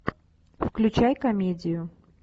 включай комедию